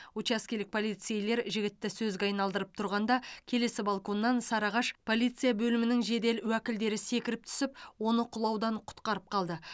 учаскелік полицейлер жігітті сөзге айналдырып тұрғанда келесі балконнан сарыағаш полиция бөлімінің жедел уәкілдері секіріп түсіп оны құлаудан құтқарып қалды